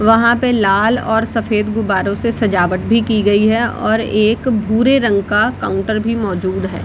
वहां पे लाल और सफेद गुब्बारो से सजावट भी की गई है और एक भूरे रंग का काउंटर भी मौजूद है।